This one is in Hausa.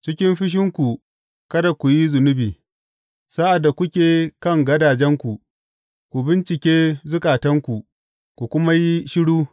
Cikin fushinku kada ku yi zunubi; sa’ad da kuke kan gadajenku, ku bincike zukatanku ku kuma yi shiru.